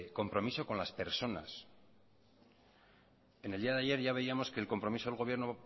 compromiso con las personas en el día de ayer ya veíamos que el compromiso del gobierno